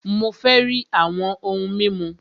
Mó fẹ rí àwọn òhún mímu!